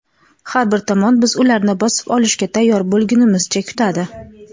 Har bir tomon biz ularni bosib olishga tayyor bo‘lgunimizcha kutadi.